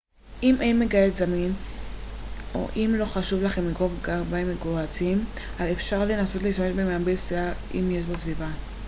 אם אין מגהץ זמין או אם לא חשוב לך לגרוב גרביים מגוהצים אפשר לנסות להשתמש במייבש שיער אם יש בסביבה